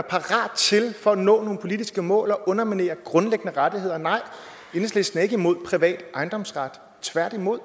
for at nå nogle politiske mål til at underminere grundlæggende rettigheder nej enhedslisten er ikke imod privat ejendomsret tværtimod